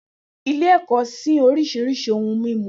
Ile- ìjẹun sìn orisirisi ohun mimu.